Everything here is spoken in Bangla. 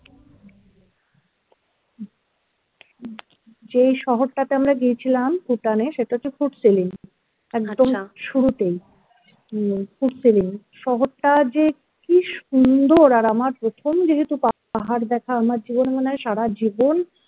যেই শহরটাতে আমরা গিয়েছিলাম Bhutan এ সেটা হচ্ছে Phuntsholling একদম শুরুতেই Phuntsholling শহরটা যে কি সুন্দর আর আমার প্রথম যেহেতু পাহাড় দেখা আমার জীবনে মনে হয় সারাজীবন